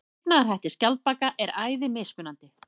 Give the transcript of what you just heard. Lifnaðarhættir skjaldbaka eru æði mismunandi.